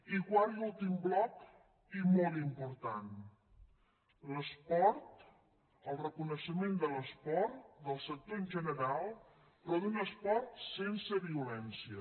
i quart i últim bloc i molt important l’esport el reconeixement de l’esport del sector en general però d’un esport sense violència